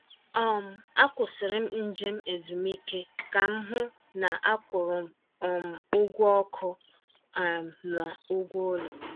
um Akwụsịrị m njem ezumike ka m hụ na a kwụrụ um ụgwọ ọkụ um na ụgwọ ụlọ.